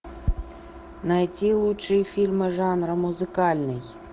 найти лучшие фильмы жанра музыкальный